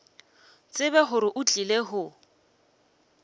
tsebe gore o tlile go